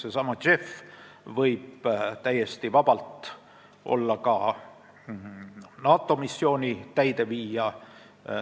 Seesama JEF võib täiesti vabalt olla ka NATO missiooni täideviija.